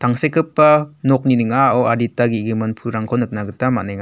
tangsekgipa nokni ning·ao adita ge·gimin pulrangko nikna gita man·enga.